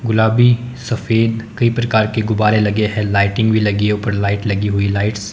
गुलाबी सफेद कई प्रकार के गुब्बारे लगे हैं लाइटिंग भी लगी है ऊपरी लाइट लगी हुई है लाइट्स --